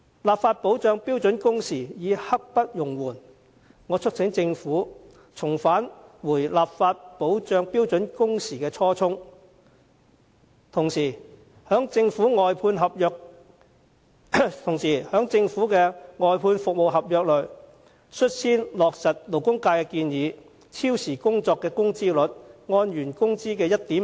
立法保障標準工時刻不容緩，我促請政府緊記立法保障標準工時的初衷，同時在政府外判服務合約內，牽頭落實勞工界的建議，按原工資的 1.5 倍計算超時工作的工資。